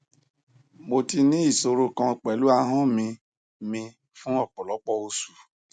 mo ti ní ìṣòro kan pẹlu ahọn mi mi fun ọpọlọpọ osu